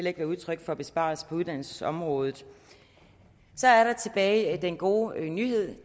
ikke være udtryk for besparelser på uddannelsesområdet så er der tilbage den gode nyhed